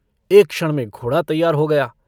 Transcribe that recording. एक क्षण में घोड़ा तैयार हो गया।